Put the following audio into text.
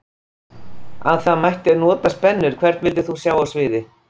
Að það mætti nota spennur Hvern vildir þú sjá á sviði?